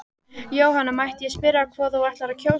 Jóhanna: Mætti ég spyrja hvað þú ætlar að kjósa?